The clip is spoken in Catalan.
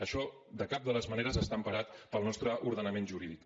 això de cap de les maneres està emparat pel nostre ordenament jurídic